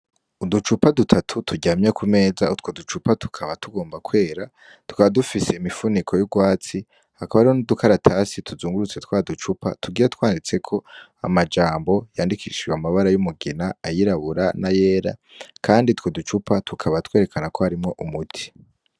Uducupa dutatu turyamye ku meza utwo ducupa tukaba tugomba kwera twa dufise imifuniko y'urwatsi hakaba arimo n'udukaratasi tuzungurutse twa ducupa tugira twanditseko amajambo yandikishijwe amabara y'umugina ayirabura na yera, kandi two ducupa tukaba twerekana ko harimo umuti.